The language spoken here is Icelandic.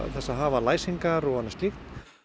þess að hafa læsingar og annað slíkt